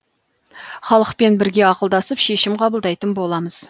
халықпен бірге ақылдасып шешім қабылдайтын боламыз